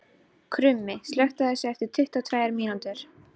Krummi, slökktu á þessu eftir tuttugu og tvær mínútur.